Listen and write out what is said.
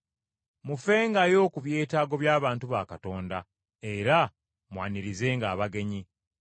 Mufengayo ku byetaago by’abantu ba Katonda, era mwanirizenga abagenyi.